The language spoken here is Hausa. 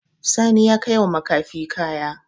Sani ya kaiwa makafi kaya.